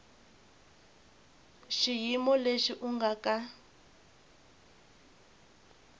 xiyimo lexi u nga ka